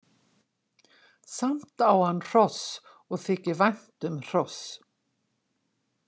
Samt á hann hross og þykir vænt um hross.